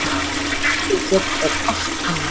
Okkar hlutverk er allt annað.